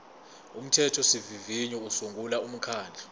umthethosivivinyo usungula umkhandlu